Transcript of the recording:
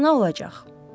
Fırtına olacaq.